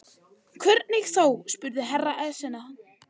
Hvernig þá spurði Herra Enzana.